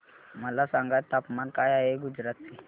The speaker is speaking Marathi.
मला सांगा तापमान काय आहे गुजरात चे